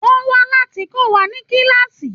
Wọ́n wà láti kọ́ wa ní kíláàsì.